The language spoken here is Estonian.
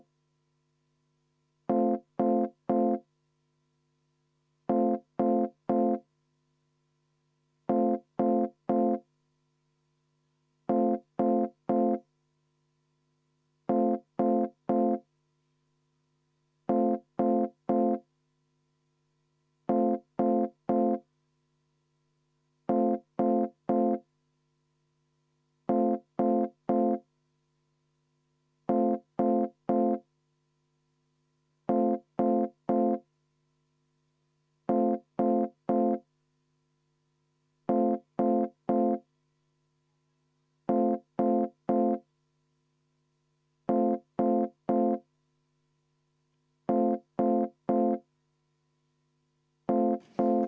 V a h e a e g